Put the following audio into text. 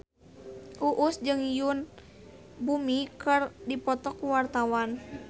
Uus jeung Yoon Bomi keur dipoto ku wartawan